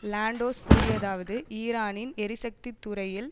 Lantos கூறியதாவது ஈரானின் எரிசக்தி துறையில்